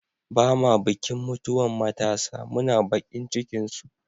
Ba'ma bikin mutuwan matasa, muna bakin cikin su.